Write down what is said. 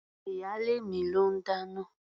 Ìyálé mi ló ń dáná.